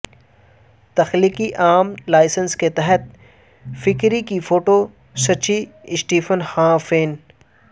تخلیقی العام لائسنس کے تحت فکری کے فوٹو سچی سٹیفن ہانا فین